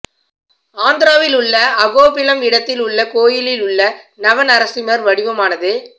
ஆந்திராவில் உள்ள அகோபிலம் இடத்தில் உள்ள கோயிலில் உள்ள நவ நரசிம்மர் வடிவமானது